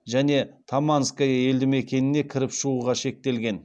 және таманское елдімекеніне кіріп шығуға шектелген